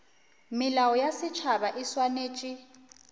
melao ya setšhaba e swanetše